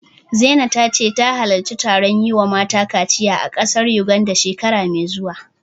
Zina ta ce zata halarci taron yi wa mata kaciya a ƙasar Yuganda, shekara mai zuwa.